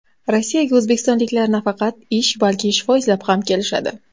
Rossiyaga o‘zbekistonliklar nafaqat ish, balki shifo izlab ham kelishadi.